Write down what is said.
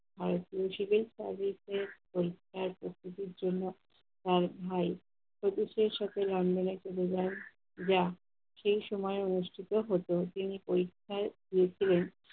ভারতীয় civil service এ পরীক্ষার প্রস্তুতির জন্য তার ভাই ছোটদের সাথে london এ চলে যান যা, সেই সময় অনুষ্ঠিত হত। তিনি পরীক্ষায় হয়েছিলেন